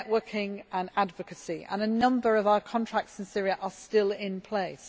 the networking and advocacy and a number of our contracts in Syria are still in place.